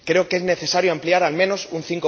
Creo que es necesario ampliar a al menos un